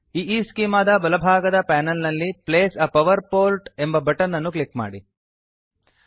ಈಸ್ಚೆಮಾ ದ ಬಲಭಾಗದ ಪಾನಲ್ ನಲ್ಲಿ place a power port place a power port ಎಂಬ ಬಟನ್ ಅನ್ನು ಕ್ಲಿಕ್ ಮಾಡಿ